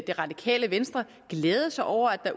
det radikale venstre glæde sig over at der